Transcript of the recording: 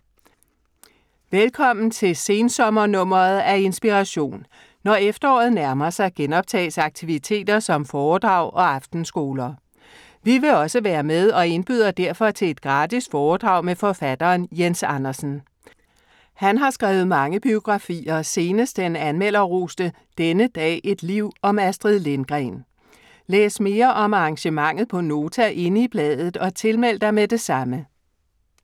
Velkommen til sensommer-nummeret af Inspiration. Når efteråret nærmer sig, genoptages aktiviteter som foredrag og aftenskoler. Vi vil også være med og indbyder derfor til et gratis foredrag med forfatteren Jens Andersen. Han har skrevet mange biografier, senest den anmelderroste "Denne dag, et liv" om Astrid Lindgren. Læs mere om arrangementet på Nota inde i bladet og tilmeld dig med det samme.